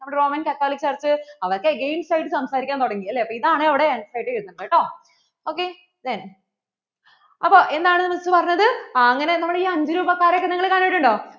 അപ്പോ എന്താണ് Miss പറഞ്ഞത് അങ്ങനെ നമ്മൾ ഈ അഞ്ചുരൂപ കാരെ ഒക്കെ നിങ്ങൾ കണ്ടിട്ടുണ്ടോ നമ്മള്‍ Roman catholic church കാര്‍ക്ക് അവര്‍ക്ക് against ആയിട്ട് സംസാരിക്കാൻ തുടങ്ങി അല്ലേ അപ്പോ ഇതാണ് അവിടെ answer എഴുതേണ്ടത് കേട്ടോ.